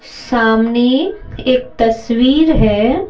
सामने एक तस्वीर है।